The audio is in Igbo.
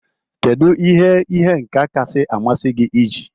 Kedu ihe ihe nka kacha amasị gị iji?